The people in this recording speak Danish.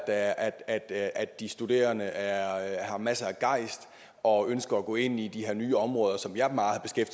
at de studerende har masser af gejst og ønsker at gå ind i de her nye områder som jeg meget